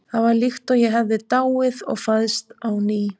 Það var líkt og ég hefði dáið og fæðst á ný.